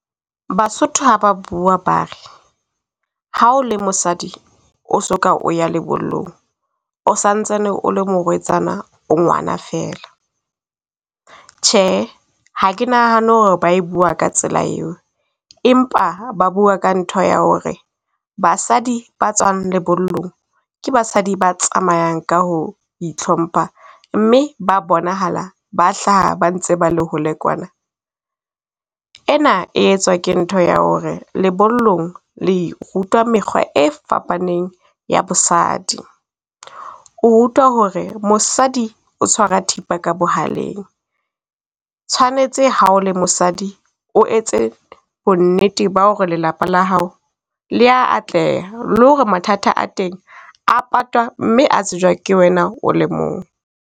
Basotho ha ba bua ba re, ha o le mosadi o soka o ya lebollong o santsane o le morwetsana o ngwana fela. Tjhe, ha ke nahana ho re ba e bua ka tsela eo, empa ba bua ka ntho ya ho re basadi ba tswang lebollong, ke basadi ba tsamayang ka ho itlhompha, mme ba bonahala ba hlaha ba ntse ba le hole kwana. Ena e etswa ke ntho ya ho re lebollong le rutwa mekgwa e fapaneng ya bosadi. O rutwa ho re mosadi o tshwara thipa ka bohaleng, tshwanetse ha o le mosadi o etse bonnete ba hore lelapa la hao le ya atleha le hore mathata a teng patwa, mme a tsejwa ke wena o le mong.